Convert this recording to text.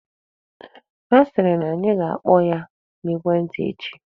Ha sịrị na anyị ga-akpọ ya n'ekwentị echi.